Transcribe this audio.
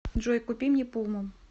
джой купи мне пуму